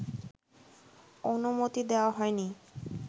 অনুমতি দেওয়া হয়নি